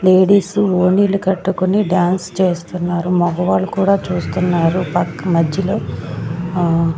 Ladies ఓనీలు కట్టుకొని dance చేస్తున్నారు మగవాళ్ళు కూడా చూస్తున్నారు పక్క మధ్యలో ఆ.